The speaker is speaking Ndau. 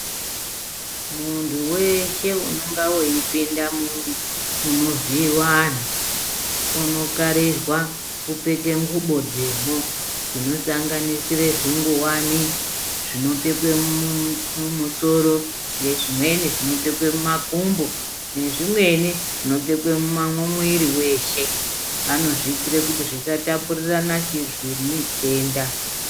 Muntu weshe unenga weipinda mu munovhiiwa anhu unokarirwa kupfeka nguwo dzemwo dzinosanganisire zvingowani zvinopfekwe mumusoro ngezvimweni zvinopfekwe mumakumbo ngezvimweni zvinopfekwa mwiri weshe anozviitire kuti zvisatapurira muzvi chi mitenda.